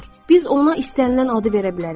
Biz ona istənilən adı verə bilərik.